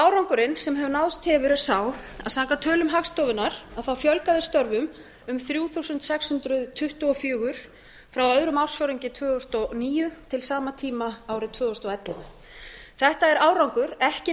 árangurinn sem náðst hefur er sá að samkvæmt tölum hagstofunnar fjölgaði störfum um þrjú þúsund sex hundruð tuttugu og fjórir frá öðrum ársfjórðungi tvö þúsund og níu til sama tíma árið tvö þúsund og ellefu þetta er árangur ekki